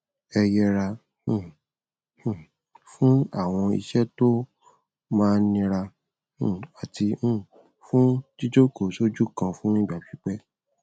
ẹ yẹra um um fún àwọn iṣẹ tó máa nira um àti um fún jíjókòó sójú kan fún ìgbà pípẹ